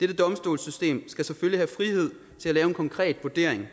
dette domstolssystem skal selvfølgelig have frihed til at lave en konkret vurdering